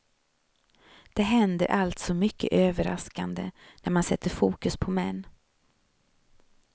Det händer alltså mycket överraskande när man sätter fokus på män.